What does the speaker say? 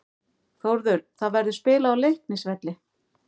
Þórður: Það verður spilað á Leiknisvelli.